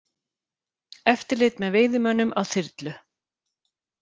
Eftirlit með veiðimönnum á þyrlu